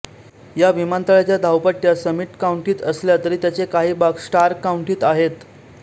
या विमानतळाच्या धावपट्ट्या समिट काउंटीत असल्या तरी त्यांचे काही भाग स्टार्क काउंटीत आहेत